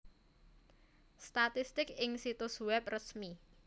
Statistik ing situs wèb resmi